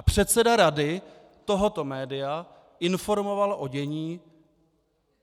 A předseda rady tohoto média informoval o dění